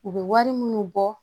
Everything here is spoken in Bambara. U bɛ wari minnu bɔ